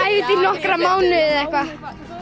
í nokkra mánuði eða eitthvað